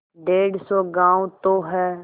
डेढ़ सौ गॉँव तो हैं